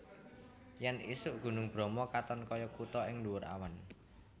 Yen isuk Gunung Bromo katon koyo kuto ning ndhuwur awan